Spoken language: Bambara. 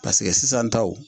sisan taw.